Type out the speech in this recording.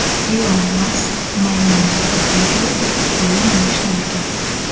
Ilon Mask maymunga kompyuterda o‘yin o‘ynashni o‘rgatdi.